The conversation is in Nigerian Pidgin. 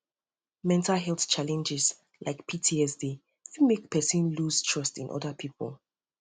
mental health challenge like ptsd fit make person loose trust in oda pipo